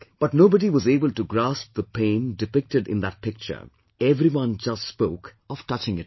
But nobody was able to grasp the pain depicted in that picture; everyone just spoke of touching it up